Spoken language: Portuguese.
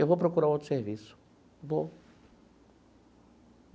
Eu vou procurar outro serviço, vou.